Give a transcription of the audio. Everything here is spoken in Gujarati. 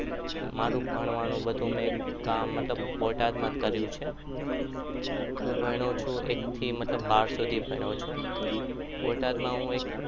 મારું ભણવાનું બધું મેં કામ મતલબ કે બોટાદમાં જ કર્યું છે હું ભણ્યો છું એક થી મતલબ બાર સુધી જ ભણ્યો છું. બોટાદમાં હું એક